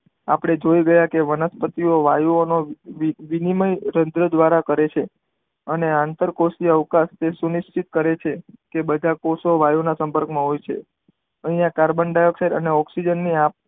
આપણે જોય ગયા કે વનસ્પતિ વાયુ ઓ માં વિનિમય તંત્ર દ્વારા કરે છે અને આંતર કોષીય અવકાશ જે કરે છે એ બધા કોષો વાયુ ના સંપર્ક માં હોય છે અહીંયા કાર્બન ડાયોગસાઇડ અને ઓકઝીજન ની